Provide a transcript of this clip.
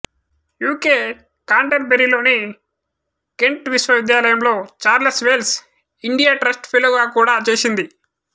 UK కాంటెర్ బరీలోని Kent విశ్వవిద్యాలయంలో చార్లెస్ వేల్స్ ఇండియా ట్రస్ట్ ఫెలోగా కూడా చేసింది